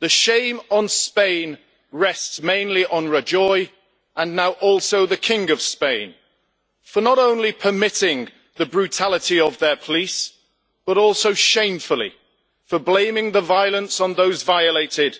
The shame on Spain rests mainly on Rajoy, and now also the King of Spain, for not only permitting the brutality of their police, but also shamefully for blaming the violence on those violated